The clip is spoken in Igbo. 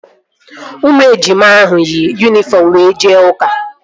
Ụmụ ejima ahụ yi yunifọm were jee ụka